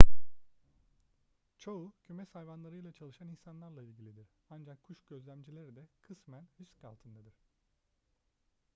çoğu kümes hayvanlarıyla çalışan insanlarla ilgilidir ancak kuş gözlemcileri de kısmen risk altındadır